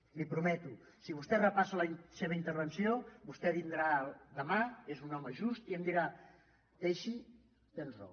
li ho prometo si vostè repassa la seva intervenció vostè vindrà demà és un home just i em dirà teixi tens raó